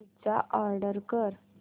pizza order कर